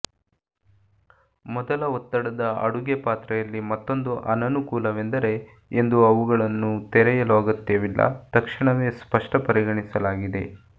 ಮೊದಲ ಒತ್ತಡದ ಅಡುಗೆ ಪಾತ್ರೆಯಲ್ಲಿ ಮತ್ತೊಂದು ಅನನುಕೂಲವೆಂದರೆ ಎಂದು ಅವುಗಳನ್ನು ತೆರೆಯಲು ಅಗತ್ಯವಿಲ್ಲ ತಕ್ಷಣವೇ ಸ್ಪಷ್ಟ ಪರಿಗಣಿಸಲಾಗಿದೆ